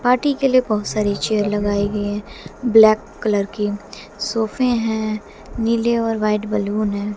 Party के लिए बहोत सारी चेयर लगाई गई है ब्लैक कलर की सोफे हैं नीले और व्हाइट बैलून है।